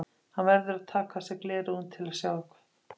Hann verður að taka af sér gleraugun til að sjá eitthvað.